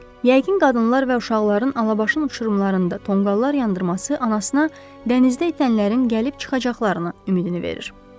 Yəqin qadınlar və uşaqların alabaşın uçurumlarında tonqallar yandırması anasına dənizdə itənlərin gəlib çıxacaqlarını ümidini verir.